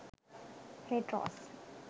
red rose